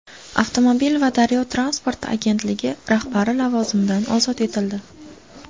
Avtomobil va daryo transporti agentligi rahbari lavozimidan ozod etildi.